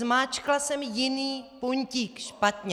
Zmáčkla jsem jiný puntík, špatně.